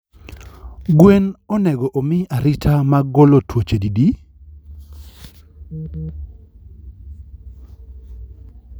gwen onego omii arita mag golo twoche didi?